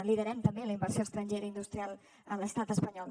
liderem també la inversió estrangera industrial a l’estat espanyol